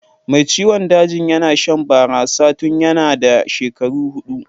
Mai ciwon dajin yana shan barasa tun yanna da shekaru hudu.